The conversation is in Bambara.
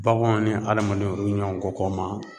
Baganw ni adamadenw olu bi ɲɔn kɔ kɔ ma